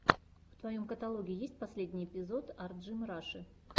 в твоем каталоге есть последний эпизод арджимраши